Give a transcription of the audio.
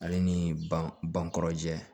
Ale ni bankɔrɔ jɛ